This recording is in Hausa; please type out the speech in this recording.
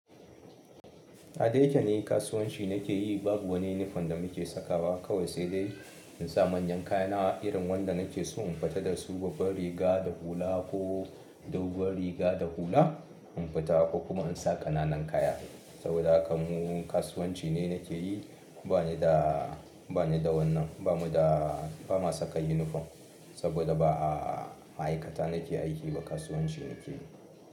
A da yake ni kasuwanci nake yi, babu wani uniform da muke sakawa, kawai sai dai in sa manyan kaya na irin wanda nake so in fita da su, babban riga da hula ko doguwar riga da hula in fita ko kuma in sa ƙananan kaya. Saboda haka mu kasuwanci ne nake yi ba ni da, ba ni da wannan, ba mu da, ba ma saka uniform saboda ba a ma'aikata nake aiki ba, kasuwanci nake yi.